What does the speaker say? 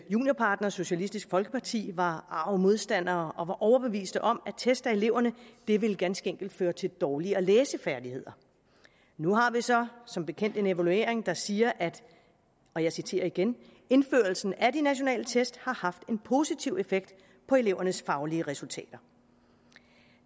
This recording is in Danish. juniorpartner socialistisk folkeparti var arg modstander og var overbevist om at test af eleverne ganske enkelt ville føre til dårligere læsefærdigheder nu har vi så som bekendt en evaluering der siger og jeg citerer igen indførelsen af de nationale test har haft en positiv effekt på elevernes faglige resultater